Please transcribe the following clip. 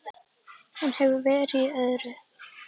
Hún hefur verið í öðru.